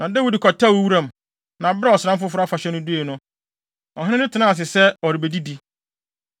Na Dawid kɔtɛwee wuram, na bere a ɔsram foforo afahyɛ no dui no, ɔhene no tenaa ase sɛ ɔrebedidi.